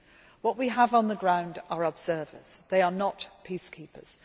What we have on the ground are observers. They are not peacekeepers.